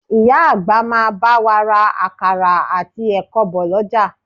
Ìyá àgbà máa bá wa ra àkàrà àti ẹ̀kọ bọ̀ lọ́jà